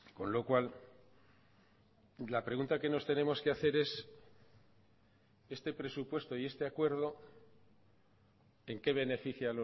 con lo cual la pregunta que nos tenemos que hacer es este presupuesto y este acuerdo en qué beneficia